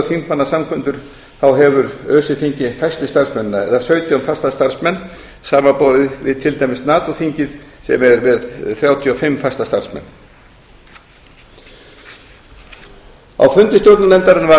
alþjóðaþingmannasamkundur þá hefur öse þingið fæstu starfsmennina eða sautján fasta starfsmenn samanborið við til dæmis nato þingið sem er með þrjátíu og fimm fasta starfsmenn á fundi stjórnarnefndarinnar var